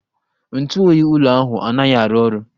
Ntụ oyi ụlọ ahụ anaghị arụ ọrụ